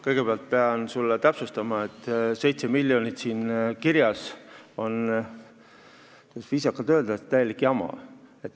Kõigepealt pean täpsustama, et 7 miljonit, mis siin kirjas on, on viisakalt öeldes täielik jama.